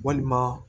Walima